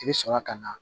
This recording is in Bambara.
I bɛ sɔrɔ ka na